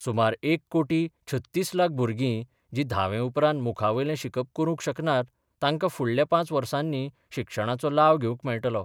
सुमार एक कोटी छत्तीस लाख भुरगीं जी धावे उपरांत मुखा वयले शिकप करूंक शकनात तांकां फुडल्या पांच वर्षांनी शिक्षणाचो लाव घेवंक मेळटलो.